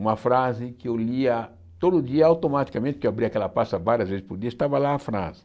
Uma frase que eu lia todo dia, automaticamente, porque eu abria aquela pasta várias vezes por dia, estava lá a frase.